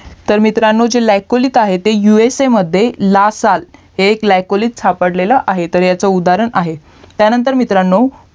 तर मित्रांनो जी सायकोलिक आहेत ते USA मध्ये लासा हे एक सायकोलिक सापडलेला आहे ह्याचा उदाहरण आहे त्यानंतर मित्रांनो